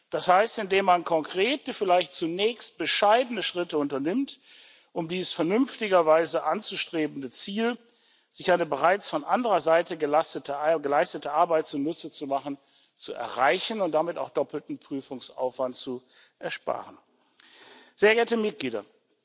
das heißt, indem man konkrete vielleicht zunächst bescheidene Schritte unternimmt, um dieses vernünftigerweise anzustrebende Ziel, sich eine bereits von anderer Seite geleistete Arbeit zunutze zu machen, zu erreichen und damit auch doppelten Prüfungsaufwand zu ersparen. Sehr geehrte Mitglieder!